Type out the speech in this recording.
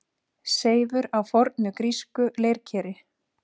Seifur á fornu grísku leirkeri.